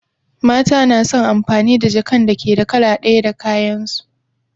Mata na son amfani da jakan da ke da kala ɗaya da kayan su